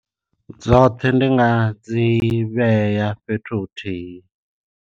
Dzoṱhe ndi nga dzi vhea fhethu huthihi.